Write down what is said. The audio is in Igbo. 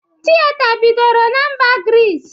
Tịyeta bidoro na mba Grịs